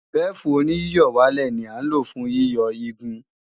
Bẹ́fù-oníyíyọ̀wálẹ̀ ní à ń lò fún yíyọ igun